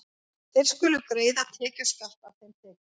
Þeir skulu greiða tekjuskatt af þeim tekjum.